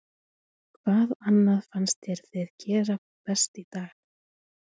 Hvað annað fannst þér þið gera best í dag?